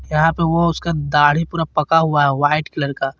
यहां पर वो उसका तार पका हुआ है वाइट कलर का।